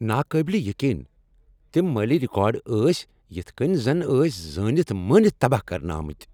ناقٲبلِہ یقین! تِم مٲلی رکارڈ ٲسۍ یتھ کٔنۍ زن ٲسۍ زٲنتھ مٲنتھ تباہ کرنہٕ آمٕتۍ۔